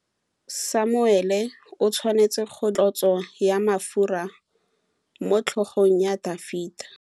Samuele o tshwanetse go dirisa tlotsô ya mafura motlhôgong ya Dafita.